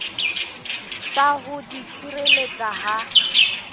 sa ho di tshireletsa ha